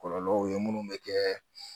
Kɔlɔlɔw ye minnu bɛ kɛ